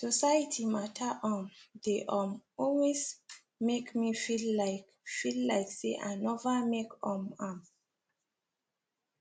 society matter um they um always make me feel like feel like say i nova make um am